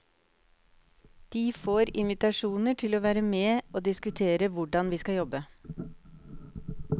De får invitasjoner til å være med å diskutere hvordan vi skal jobbe.